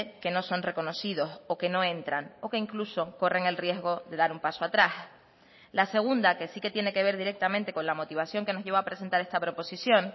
que no son reconocidos o que no entran o que incluso corren el riesgo de dar un paso atrás la segunda que sí que tiene que ver directamente con la motivación que nos lleva a presentar esta proposición